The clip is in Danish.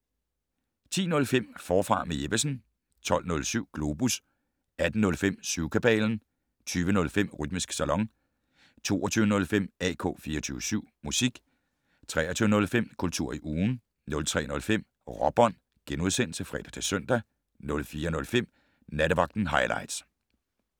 10:05: Forfra med Jeppesen 12:07: Globus 18:05: Syvkabalen 20:05: Rytmisk Salon 22:05: AK 24syv Musik 23:05: Kultur i ugen 03:05: Råbånd *(fre-søn) 04:05: Nattevagten Highligts